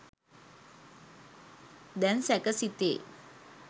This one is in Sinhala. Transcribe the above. දැන් සැක සිතේ!